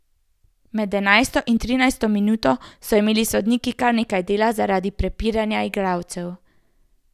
Med enajsto in trinajsto minuto so imeli sodniki kar nekaj dela zaradi prepiranja igralcev.